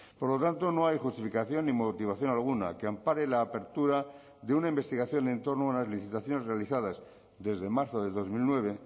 por lo tanto no hay justificación ni motivación alguna que ampare la apertura de una investigación en torno a unas licitaciones realizadas desde marzo de dos mil nueve